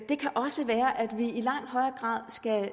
det kan også være at vi i langt højere grad